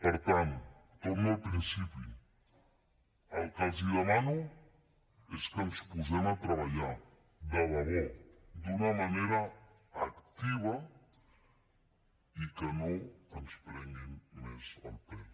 per tant torno al principi el que els demano és que ens posem a treballar de debò d’una manera activa i que no ens prenguin més el pèl